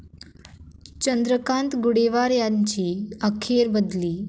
चंद्रकांत गुडेवार यांची अखेर बदली